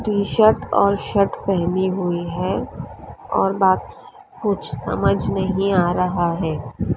T shirt और shirt पहनी हुई है और बात कुछ समझ नहीं आ रहा है।